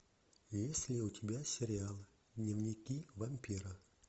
есть ли у тебя сериалы дневники вампира